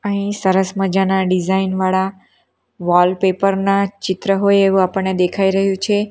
અહીં સરસ મજાના ડિઝાઇન વાળા વોલપેપર ના ચિત્ર હોય એવું આપણને દેખાઈ રહ્યું છે.